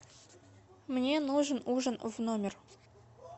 мне нужен ужин в номер